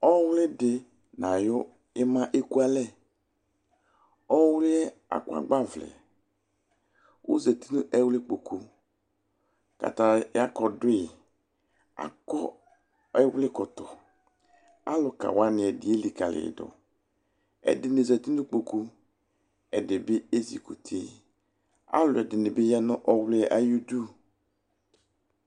ɔwli di nʋ ayi ima ɛkʋ alɛ, ɔwli akɔ agbavlɛ kʋ ɔzati nʋ ɛwli kpɔkʋ, ata akɔdʋi, akɔ ɛwli kɔtɔ, alʋka wani ɛdi ɛlikaliyi dʋ, ɛdini zati nʋ ikpɔkʋ, ɛdibi ɛzukʋti, alʋɛdini bi yanʋ ɔwliɛ ayidʋ